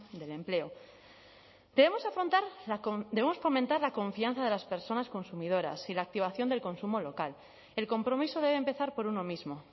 del empleo debemos afrontar la debemos fomentar la confianza de las personas consumidoras y la activación del consumo local el compromiso debe empezar por uno mismo